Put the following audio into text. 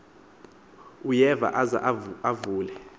uyeva aze avule